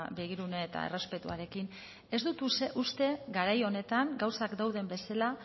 begirune eta errespetuarekin ez dut uste garai honetan gauzak dauden bezala